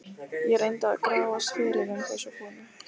Ég reyndi að grafast fyrir um þessa konu.